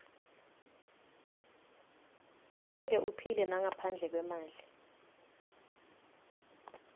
angeke uphile nangaphandle kwemali